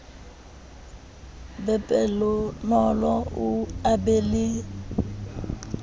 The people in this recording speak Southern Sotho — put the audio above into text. be pelonolo a be le